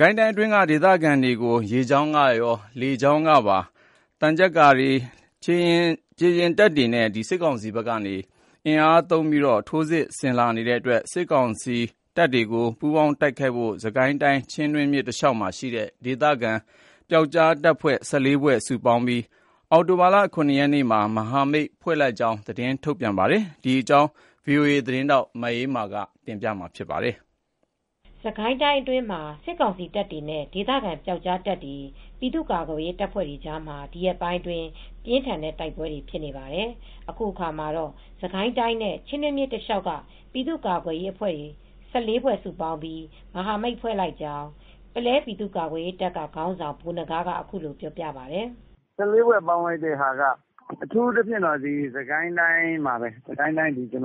ကိုင်တိုင်းအတွင်း ဒေသခံတွေကို ရေကြောင်း၊ လေကြာင်း၊ သံချပ်ကာ ခြေလျပ်တပ်တွေနဲပါ စစ်ကောင်စီဘက်က အင်အားတိုးချဲ့ပြီး ထိုးစစ်ဆင်လာနေတဲ့အတွက် စစ်ကိုင်းတိုင်းနဲ့ ချင်းတွင်းမြစ်တလျောက်မှာရှိတဲ့ဒေသခံပျောက်ကြားအဖွဲ့တွေ ၁၄ဖွဲ့ စုပေါင်းပြီး စစ်ကောင်စီကို ပူးပေါင်းတိုက်ခိုက်ဖို့ အတွက်အောင်တိုဘာလ၇ရက်နေ့မှာ မဟာမိတ်ဖွဲ့လိုက်ကြောင်းထုတ်ပြန်ခဲ့ပါတယ် ။ ဒီသတင်းကို ဗွီအိုအေ သတင်းထောက်မအေးအေးမာကပြောပြပေးပါမယ်။ စစ်ကိုင်းတိုင်းအတွင်းမှ ာစစ်ကောင်စီတပ်တွေနဲ့ ဒေသခံပျောက်ကြားတပ်ဖွဲတွေ၊ ပြည်သူကာကွယ်ရေးတပ်ဖွဲ့တွေကြားမှာ ဒီရက်ပိုင်းအတွင်းပြင်းထန်တဲ့တိုက်ပွဲတွေဖြစ်နေပါတယ်။ အခုအခါမှာတော့ စစ်ကိုင်းတိုင်းနဲ့ ချင်းတွင်းမြစ်တလျောက်က ပြည်သူကာ့ကွယ်ရေးအဖွဲ့၁၄ဖွဲ စုပေါင်းပြီး မဟာမိတ်ဖွဲ့လိုက်ကြောင်း ပုလဲပြည်သူကာကွယ်ရေးတပ်က ခေါင်းဆောင်ဗိုလ်နဂါးကအခုလိုပြောပါတယ်။ "၁၄ဖွဲ ပေါင်းလိုက်တာက အထူးသဖြင့် စစ်ကိုင်းတိုင်းမှာပဲ။ စစ်ကိုင်းတိုင်းချင်းတွင်း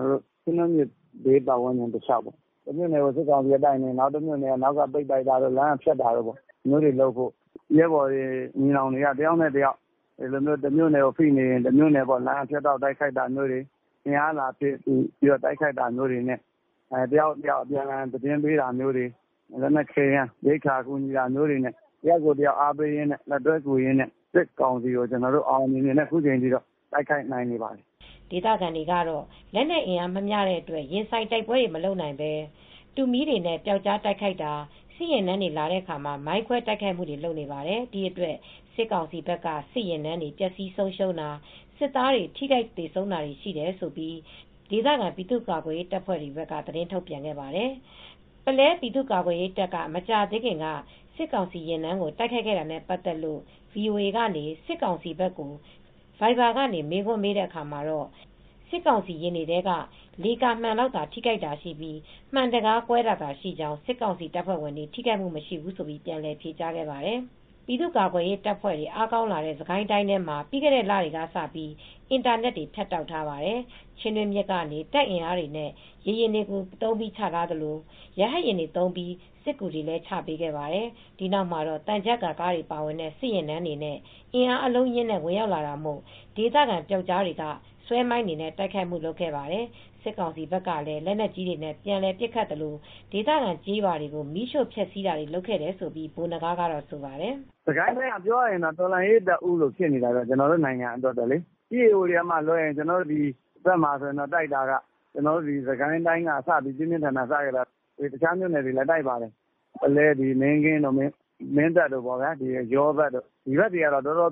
မြစ်ဘေးပတ်ဝန်းကျင်တလျောက်ပေါ့။ တမြို့နယ်ကို စစ်ကောင်စီကတိုက်နေရင် တမြို့နယ်က နောက်ကပိတ်တိုက်တာတို့ လမ်းကဖြတ်တောက်တိုက်ခိုက်တာ။ ဒီလိုလုပ်ဖို့ ရဲဘော်ညီနောင်တွေတမြို့နယ်ကိုတိုက်နေရင် လမ်းကဖြတ်တိုက်တာမျိုးတို့ တမြို့နယ် ကိုအင်အားလာဖြည့်ကူညီတာမျိုး တယောက်နဲ့တယောက် အပြန်အလှန်သတင်းပေးတာမျိုး လက်နက်ခဲယမ်း ရိက္ခာအကူညီပေးတာမျိုးတွေနဲ့ တယောက်နဲ့တယောက်အားပေးကူညီရင်းနဲ့ စစ်ကောင်စီကို ကျနော်တို့အောင်အောင်မြင်မြင်နဲ့အခုတိုက်နိုင်နေပါတယ် " ဒေသခံတွေကတော့လက်နက်အင်အားမမျှတဲ့အတွက် ရင်ဆိုင်တိုက်ပွဲတွေမလုပ်နိုင်ပဲ တူးမီးတွေနဲ့ပျောက်ကြားတိုက်ခိုက်တာ စစ်ယာဉ်တန်းတွေလာတဲ့အခါ မိုင်းခွဲတိုက်ခိုက်မူတွေလုပ်နေပါတယ် ။ဒီအတွက်စစ်ကောင်စီဘက်က စစ်ယာဉ်တန်းတွေ ပျက်ဆီးဆုံရှုံးတာ စစ်သားတွေ ထိခိုက်သေဆုံးတာတွေ ရှိတယ်လို့ ဒေသခံပြည်သူကာကွယ်ရေးတပ်တွေကသတင်းထုတ်ပြန်ခဲ့ပါတယ်။ ပုလဲပြည်သူ့ကာကွယ်ရေးတပ်က မကြာသေးခင်က စစ်ကောင်စီယာဉ်တန်းကို တိုက်ခိုက်ခဲ့တာနဲပတ်သက်လို့ VOAက စစ်ကောင်စီဘက်ကို ဗိုက်ဗာကနေ မေးခွန်းမေးတဲ့အခါမှာတော့ စစ်ကောင်စီယဉ်တွေထဲက လေကာမှန်လောက်ထိခိုက်တာရှိပြီး မှန်တံခါးကွဲတာသာရှိကြောင်း စစ်ကောင်စီတပ်ဖွဲ့ဝင်တွေထိခိုက်မူ့မရှိဘူးလို့ ပြန်လည် ဖြေကြားခဲ့ပါတယ် ။ ပြည်သူ့ကာကွယ်ရေးတပ်ဖွဲ့တွေ အားကောင်းလာတဲ့စစ်ကိုင်းတိုင်းထဲမှာပြီးခဲ့တဲ့လတွေကစပြီး အင်တာနက်တွေ ဖြတ်တောက်ထားပါတယ် ။ချင်းတွင်းမြစ်ကနေ တင်အင်အားတွေနဲ့ရေယာဉ်တွေသုံးပြီးချထားသလို ရဟတ်ယာဉ်တွေသုံးပြီးစစ်ကူတွေချပေးခဲ့ပါတယ်။ ဒီနောက်မှာတော့ သံချပ်ကားတွေပါဝင်တဲ့ စစ်ယာဉ်တန်းတွေနဲ့ အင်အားအလုံးအရင်းနဲ့ ဝင်ရောက်လာတာမို့ ဒေသခံတွေကပျောက်ကြားတွေကဆွဲမိုင်းတွေနဲံတိုုက်ခိုက်တာတွေလုပ်ခဲ့ပါတယ် ။စစ်ကောင်စီဘက်ကလည်း လက်နက်ကြီးတွေနဲပြန်ပစ်ခတ်သလို့ဒေသခံကျေးရွာတွေကို မီးရှို့ဖျက်ဆီးတာတွေလုပ်လာတယ်လို့လည်းဗိုလ်နဂါးကဆိုပါတယ်။ "စစ်ကိုင်းတိုင်းကပြောရရင်တော့ တော်လှန်ရေးတပ်ဦးလို့ဖြစ်နေပါတယ်။ ကျနော်တို့နိုင်ငံအတွက်ပေါ့လေ EAO တွေကလွဲရင်ပေါ့။ ကျနော်တို့ စစ်ကိုင်းတိုင်းကပြင်းပြင်းထန်ထန်စခဲ့တာ။ တခြားမြိုနယ်တွေလည်းတိုက်ပါတယ်။ ပုလဲတို့ မင်းကင်းတို့ မင်းတပ်တို့ယောနယ်တဝိုက်ပေါ့ ဒီဘက်တွေက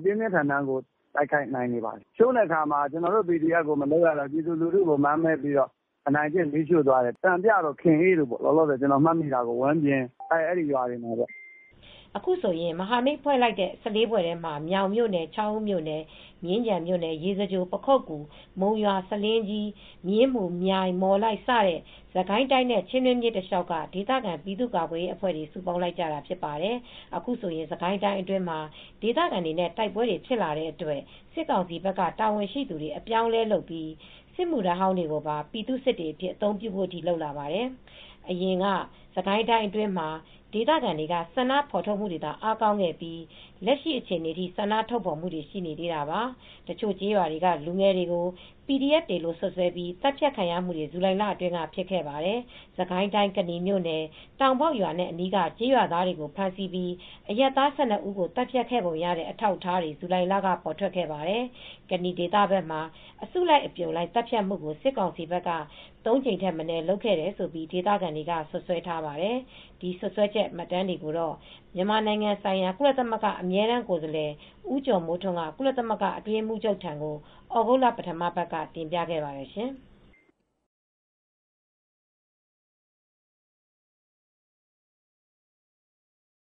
ပြင်းပြင်းထန်ထန်တိုက်နေပါတယ်။ ကျနော်တို့PDF တွေကိုလုပ်မရတော့ ကျနော်တို့ပြည်သူတွေကို မာန်မဲပြီးအနိုင်ကျင့်ပြီး ရွာတွေမီးရှို့သွားတယ်၊ စံပြရွာတို့ ခင်အေးရွာတို့ ဝမ်းပြင်ရွာတို့အဲဒီရွာတွေမှာပေါ့ " အခုဆိုရင်မဟာမိတ်ဖွဲ့လိုက်တဲ့ ၁၄ဖွဲ့ထဲမှ ာမြောင်မြိုနယ် ချောင်းဦးမြိုနယ် မြင်းခြံမြိုနယ် ရေစကြို ပခုက္ကူ မုံရွာ ဆားလင်းကြီး မြင်းမူ မြိုင်မော်လိုက် စတဲ့ စစ်ကိုင်းတိုင်းနဲ့ချင်းတွင်းမြစ်တလျောက်က ဒေသခံပြည်သူကာကွယ်ရေးအဖွဲ့တွေစုပေါင်းလိုက်ကြတာဖြစ်ပါတယ်။ အခုဆိုရင် စစ်ကိုင်းတိုင်းအတွင်းမှာ ဒေသခံတွေနဲ့တိုက်ပွဲတွေဖြစ်လာတဲ့အတွက် စစ်ကောင်စီဘက်က တာဝန်ရှိသူတွေ အပြောင်းအလဲလုပ်ပြီး စစ်မူ့ထမ်းဟောင်းတွေကိုပါ ပြည်သူ့စစ်တွေအဖြစ်အသုံးပြုဖို့တွေအထိလုပ်လာပါတယ် ။ အရင်တုန်းကစစ်ကိုင်းတိုင်းအတွင်းမှာ ဒေသခံတွေက ဆန္ဒဖော်ထုတ်မူတွေသာ အားကောင်းခဲ့ပြီး လက်ရှိအခြေအနေထိဆန္ဒထုတ်ဖော်မူတွေလည်းရှိနေသေးတာပါ။ တချို့ကျေးရွာတွေကလူငယ်တွေကို PDF တွေလို့စွတ်စွဲပြီး သတ်ဖြတ်ခံရမူတွေဇူလိုင်လအတွင်းကဖြစ်ခဲ့ပါတယ် ။စစ်ကိုင်းတိုင်းကနီမြို့နယ်၊ တောင်ပေါက်ရွာနဲ့ အနီးက ကျေးရွာသားတွေကို ဖမ်းဆီးပြီး အရပ်သား ၁၂ ဦးကို သတ်ဖြတ်ခဲ့ပုံရတဲ့ အထောက်အထားတွေ ဇူလိုင်လက ပေါ်ထွက်ခဲ့ပါတယ်။ ကနီဒေသဘက်မှာ အစုလိုက်အပြုံလိုက် သတ်ဖြတ်မူကို စစ်ကောင်စီဘက်က ၃ ကြိမ်ထက်မနည်းလုပ်ခဲ့တယ်လို့ ဒေသခံတွေက စွပ်စွဲထားပါတယ်။ ဒီစွပ်စွဲချက် မှတ်တမ်းတွေကို မြန်မာနိုင်ငံ ဆိုင်ရာ ကုလသမဂ္ဂအမြဲတမ်းကိုယ်စားလှယ် ဦးကျော်မိုးထွန်းက ကုလသမဂ္ဂအတွင်းရေးမှူးချုပ်ထံကို သြဂုတ်လ ပထမပတ်မှာ တင်ပြခဲ့ပါတယ်ရှင်။